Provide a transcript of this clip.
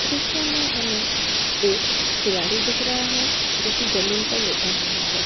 दृश्य मे हमें एक खिलाड़ी दिख रहा है जो की जमीन पर लेटा हुआ है।